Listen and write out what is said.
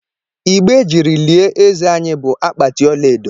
Igbe e jiri lie eze anyị bụ akpati ọlaedo